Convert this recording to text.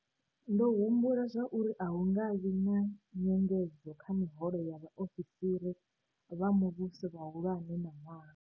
Ndo humbula zwauri a hu nga vhi na nyengedzo kha miholo ya vhaofisiri vha muvhuso vhahulwane ṋaṅwaha.